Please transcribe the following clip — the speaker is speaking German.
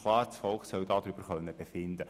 Das Volk soll darüber befinden können.»